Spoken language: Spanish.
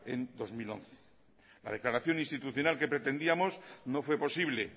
en dos mil once la declaración institucional que pretendíamos no fue posible